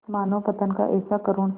मानवपतन का ऐसा करुण